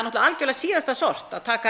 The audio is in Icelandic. algjörlega síðasta sort að taka